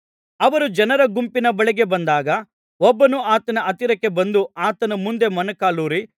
ಅವರು ಜನರ ಗುಂಪಿನ ಬಳಿಗೆ ಬಂದಾಗ ಒಬ್ಬನು ಆತನ ಹತ್ತಿರಕ್ಕೆ ಬಂದು ಆತನ ಮುಂದೆ ಮೊಣಕಾಲೂರಿ